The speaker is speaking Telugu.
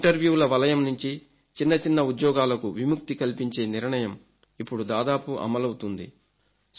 ఇంటర్వ్యూల వలయం నుంచి చిన్నచిన్న ఉద్యోగాలకు విముక్తి కల్పించే నిర్ణయం ఇప్పుడు దాదాపు అమలవుతుంది